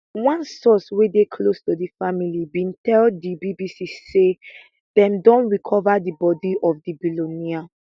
one source wey dey close to di family bin tell di bbc say dem don recova di bodi of di billionaire